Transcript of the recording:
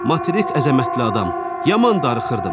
Materik əzəmətli adam, yaman darıxırdım.